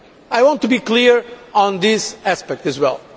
I want to be clear on this aspect as well.